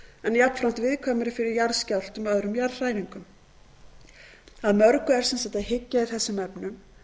en jafnframt viðkvæmari fyrir jarðskjálftum og öðrum jarðhræringum að mörgu er að hyggja í þessum efnum